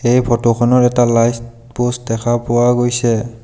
এই ফটো খনৰ এটা লাইছ পোষ্ট দেখা পোৱা গৈছে।